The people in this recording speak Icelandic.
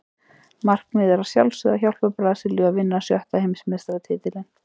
Markmiðið er að sjálfsögðu að hjálpa Brasilíu að vinna sjötta Heimsmeistaratitilinn.